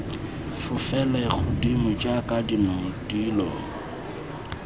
fofele godimo jaaka dinong dilo